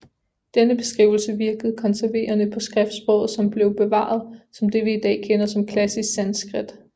Denne beskrivelse virkede konserverende på skriftsproget som blev bevaret som det vi i dag kender som klassisk sanskrit